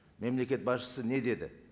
мемлекет басшысы не деді